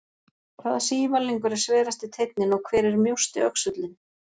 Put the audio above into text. Hvaða sívalningur er sverasti teinninn og hver er mjósti öxullinn?